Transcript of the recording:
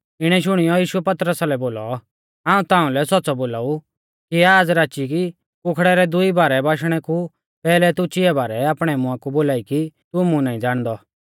इणै शुणियौ यीशुऐ पतरसा लै बोलौ हाऊं ताउंलै सौच़्च़ौ बोलाऊ कि आज़ राची कुखड़ै रै दुई बारै बाश्णै कु पैहलै तू चिया बारै आपणै मुंआ कु बोलाई कि तू मुं नाईं ज़ाणदौ